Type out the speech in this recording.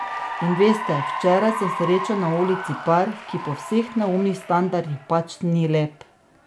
In veste, včeraj sem srečal na ulici par, ki po vseh neumnih standardih pač ni lep.